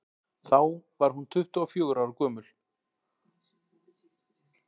þá var hún tuttugu og fjögurra ára gömul